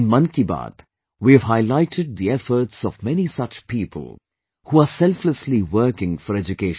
In 'Mann Ki Baat', we have highlighted the efforts of many such people, who are selflessly working for education